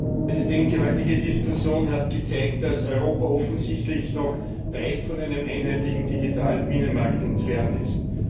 Herr Präsident! Die heutige Diskussion hat gezeigt, dass Europa offensichtlich noch weit von einem einheitlichen digitalen Binnenmarkt entfernt ist.